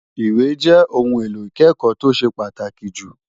Ìwé jẹ́ ohun èlò ìkẹ́kọ̀ọ́ tó ṣe pàtàkì jù.